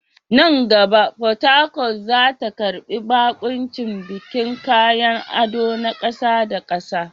Nan gaba, Port Harcourt za ta karbi baƙuncin bikin kayan ado na ƙasa da ƙasa.